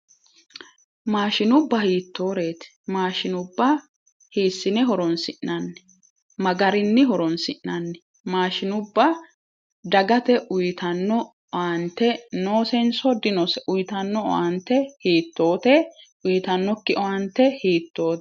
Mashinubba hiittoreeti? mashinubba hiissine horonsi'nanni? maa garinni horonsi'nanni? mashinubba dagate uytanno owaante noosenso dinose? Uytanno owaante hiittote? uytannokki owaante hiittote?